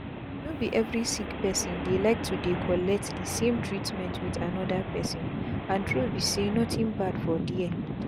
no be every sick person dey like to dey collect the same treatment with another person and true be say nothing bad for there.